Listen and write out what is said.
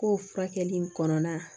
Ko furakɛli in kɔnɔna na